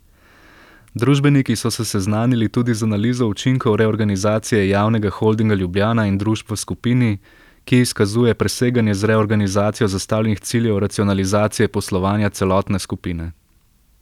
Družbeniki so se seznanili tudi z analizo učinkov reorganizacije Javnega holdinga Ljubljana in družb v skupini, ki izkazuje preseganje z reorganizacijo zastavljenih ciljev racionalizacije poslovanja celotne skupine.